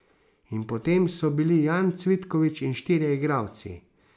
In potem so bili Jan Cvitkovič in štirje igralci.